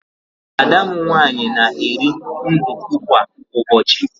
Ada m nwaanyị na-eri nduku kwa ụbọchị.